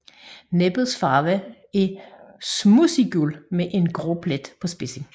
Næbets farve er smudsiggul med en grå plet på spidsen